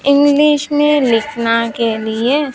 English मे लिखना के लिए--